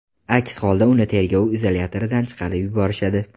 Aks holda uni tergov izolyatoridan chiqarib yuborishadi.